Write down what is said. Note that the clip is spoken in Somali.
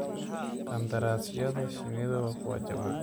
Qandaraasyada shinnidu waa kuwo jaban.